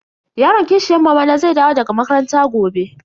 Yaron kishiyan mamana zai dawo daga makaranta gobe.